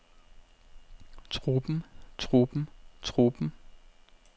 truppen truppen truppen